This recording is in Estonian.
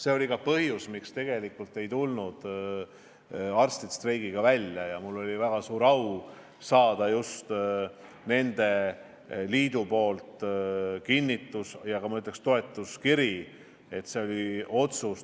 See oli ka põhjus, miks arstid streiki ei alustanud, ja mul oli väga suur au saada nende liidu kinnitus, et nad toetavad meie otsuseid.